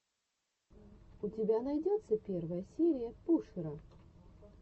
у тебя найдется первая серия пушера